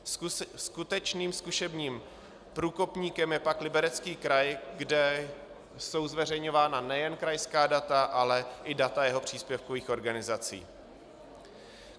Skutečným zkušebním průkopníkem je pak Liberecký kraj, kde jsou zveřejňována nejen krajská data, ale i data jeho příspěvkových organizací.